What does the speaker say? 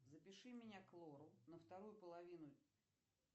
запиши меня к лору на вторую половину